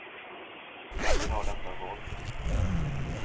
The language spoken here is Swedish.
Vem vill ha detta våld?